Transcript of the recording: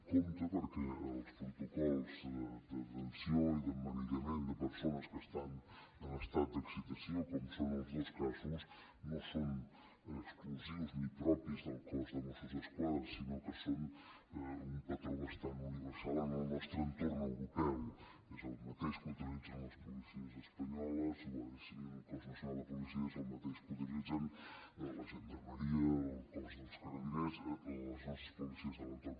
compte perquè els protocols de detenció i d’emmanillament de persones que estan en estat d’excitació com són els dos casos no són exclusius ni propis del cos de mossos d’esquadra sinó que són un patró bastant universal en el nostre entorn europeu és el mateix que utilitzen les policies espanyoles guàrdia civil cos nacional de policia és el mateix que utilitzen la gendarmeria el cos dels carabiners les nostres policies de l’entorn